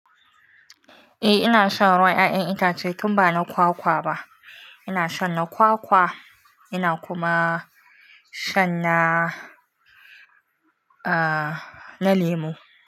Eh ina shan ruwan ƴaƴan itace tun ba na kwakwa ba. Ina shan na kwakwa, ina kuma shan na, ah, na lemu.